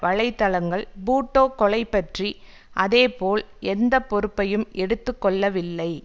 வலைதளங்கள் பூட்டோ கொலை பற்றி அதே போல் எந்த பொறுப்பையும் எடுத்து கொள்ளவில்லை